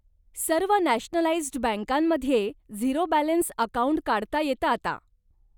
सर्व नॅशनलाईज्ड बँकांमध्ये zero balance account काढता येतं आता.